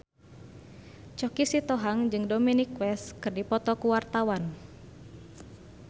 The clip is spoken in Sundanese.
Choky Sitohang jeung Dominic West keur dipoto ku wartawan